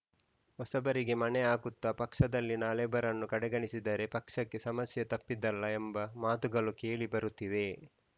ಹೊಸಬರಿಗೆ ಮಣೆ ಹಾಕುತ್ತಾ ಪಕ್ಷದಲ್ಲಿನ ಹಳಬರನ್ನು ಕಡೆಗಣಿಸಿದರೆ ಪಕ್ಷಕ್ಕೆ ಸಮಸ್ಯೆ ತಪ್ಪಿದ್ದಲ್ಲ ಎಂಬ ಮಾತುಗಳೂ ಕೇಳಿಬರುತ್ತಿವೆ